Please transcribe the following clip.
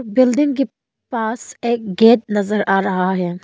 Building के पास एक गेट नजर आ रहा है।